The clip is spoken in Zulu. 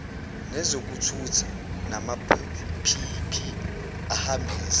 nezokuthutha namaphiyiphi ahambisa